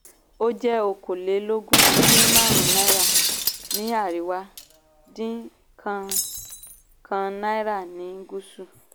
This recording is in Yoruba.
ó jẹ́ okòólélógún dín márùn-ún náírà ní àríwá dín kan kan náírà ní gúsù.